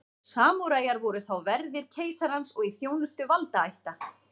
samúræjar voru þá verðir keisarans og í þjónustu valdaætta